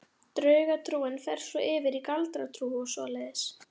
Draugatrúin fer svo yfir í galdratrú og svoleiðis.